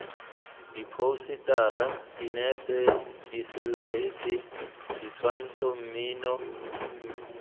diphousetara dinepe diselaete ditshwantsho mmino